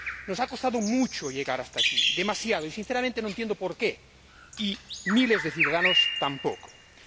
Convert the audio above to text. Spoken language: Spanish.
Nos ha costado mucho llegar hasta aquí, demasiado, y sinceramente no entiendo por qué, y miles de ciudadanos tampoco lo entienden.